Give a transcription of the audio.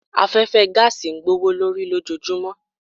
Afẹ́fẹ́ gáàsì ń gbówó lórí lójojúmọ́.